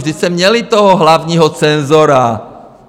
Vždyť jste měli toho hlavního cenzora!